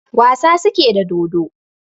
Wasa suke da dodo